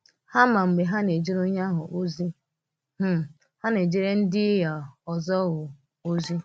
Hà mà mgbe hà na-èjere onye ahụ ozi um hà na-èjere ndị um ọzọ um ozi.